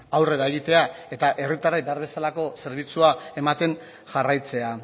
aurrera egitea eta herritarrei behar bezalako zerbitzua ematen jarraitzea